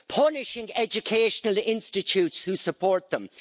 punishing educational institutes who support them.